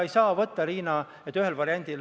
Milles on protseduuriline küsimus?